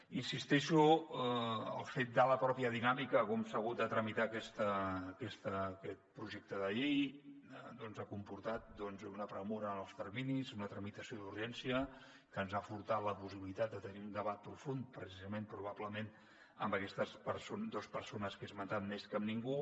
hi insisteixo el fet de la mateixa dinàmica de com s’ha hagut de tramitar aquest projecte de llei doncs ha comportat una pressa en els terminis una tramitació d’urgència que ens han furtat la possibilitat de tenir un debat profund precisament probablement amb aquestes dues persones que he esmentat més que amb ningú